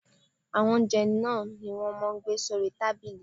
Àwọn oúnjẹ náà ni wọ́n máa ń gbé sórí tábìlì.